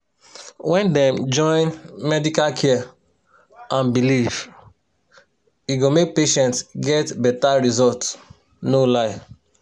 where dem join medical care and belief e go make patient get beta result no lie.